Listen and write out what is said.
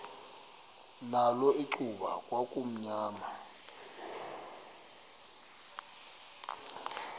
nakho icuba kwakumnyama